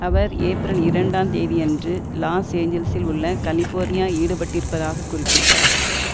அவர் April இரண்டு ந் தேதியன்று லாஸ் ஏஞ்சல்சில் உள்ள கலிபோர்னியா ஈடுபட்டிருப்பதாக குறிப்பிட்டார்